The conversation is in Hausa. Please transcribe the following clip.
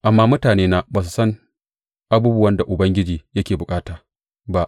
Amma mutanena ba su san abubuwan da Ubangiji yake bukata ba.